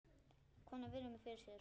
Konan virðir mig fyrir sér.